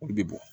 Olu bɛ bɔn